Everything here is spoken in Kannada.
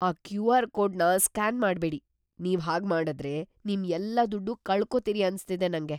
ಆ ಕ್ಯೂ.ಆರ್. ಕೋಡ್‌ನ ಸ್ಕ್ಯಾನ್ ಮಾಡ್ಬೇಡಿ. ನೀವ್‌ ಹಾಗ್ಮಾಡುದ್ರೆ, ನಿಮ್ ಎಲ್ಲಾ ದುಡ್ಡೂ ಕಳ್ಕೊತೀರಿ ಅನ್ಸ್ತಿದೆ ನಂಗೆ.